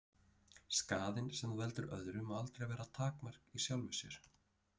Skaðinn sem þú veldur öðrum má aldrei vera takmark í sjálfu sér.